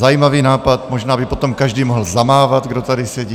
Zajímavý nápad, možná by potom každý mohl zamávat, kdo tady sedí.